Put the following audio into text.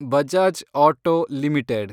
Bajaj auto limited